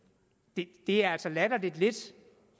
det er altså latterlig lidt